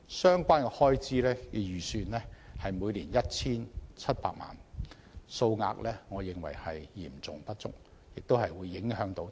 相關開支預算為每年 1,700 萬元，我認為數額嚴重不足，影響推廣的內容和成效。